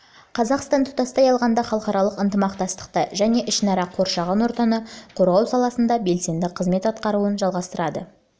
қазақстан тұтастай алғанда халықаралық ынтымақтастықта және ішінара қоршаған ортаны қорғау саласында белсенді қызмет атқаруын жалғастырды